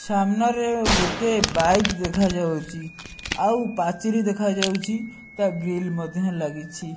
ସାମ୍ନାରେ ଗୋଟେ ବାଇକ ଦେଖାଯାଉଛି ଆଉ ପାଚେରୀ ଦେଖାଯାଉଛି ତା ଗ୍ରିଲ୍ ମଧ୍ୟ ଲାଗିଛି।